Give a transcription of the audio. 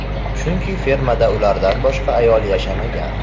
Chunki fermada ulardan boshqa ayol yashamagan.